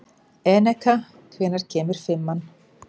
Eneka, hvenær kemur fimman?